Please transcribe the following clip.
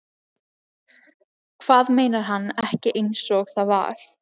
Hvað meinar hann ekki einsog það var?